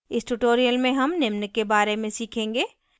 इस tutorial में हम निम्न के बारे में सीखेंगे